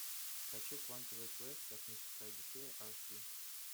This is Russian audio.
хочу квантовый квест космическая одиссея аш ди